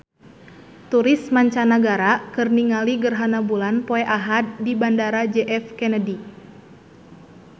Turis mancanagara keur ningali gerhana bulan poe Ahad di Bandara J F Kennedy